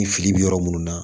Ni fili bɛ yɔrɔ minnu na